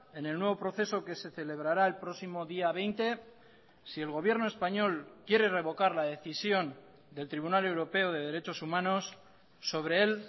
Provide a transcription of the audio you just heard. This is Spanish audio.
en el nuevo proceso que se celebrará el próximo día veinte si el gobierno español quiere revocar la decisión del tribunal europeo de derechos humanos sobre él